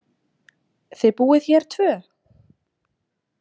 Þið búið hér tvö?